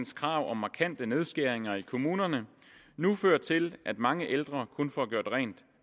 krav om markante nedskæringer i kommunerne nu fører til at mange ældre kun får gjort rent